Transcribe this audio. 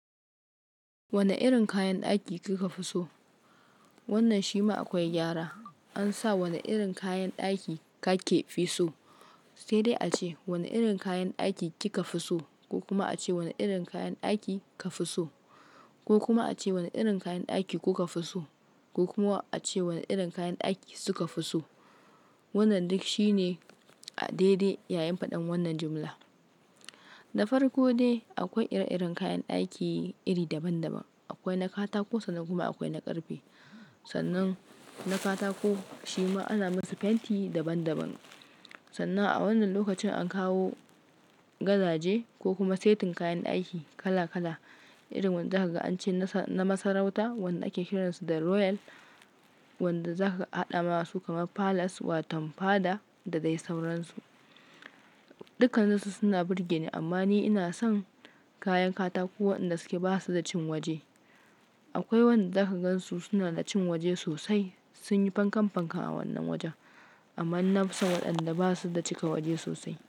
Wane irin kayan ɗaki kika fi so? Wannan shi ma akwai gyara. An sa wani irin kayan ɗaki kake fi so? Sai dai a ce "wani irin kayan ɗaki kika fi so? "ko kuma a ce "wani irin kayan ɗaki ka fi so", ko kuma a ce "wani irin kayan ɗaki kuka fi so", ko kuma a ce "wani irin kayan ɗaki suka fi so". Wannan duk shine a daidai yayin faɗan wannan jumla. Da farko dai akwai ire-iren kayan ɗaki iri daban-daban. Akwai na katako sannan kuma akwai na ƙarfe. Sannan na katako shi ma ana masa fenti daban-daban. Sannan a wannan lokacin an kawo gadaje ko kuma setin kayan ɗaki kala-kala. Irin wanda zaka ga an ce na masarauta, wanda ake kiransu da royal, wanda zaka haɗa masu kamar palace wato fada da dai sauransu. Dukaninsu suna burge ni amma ni ina son kayan katako waɗanda suke ba su da cin waje. Akwai wanda zaka gan su suna da cin waje sosai, sun yi fankan-fankan a wannan wajen. Amma nafsa waɗanda ba su da cika waje sosai.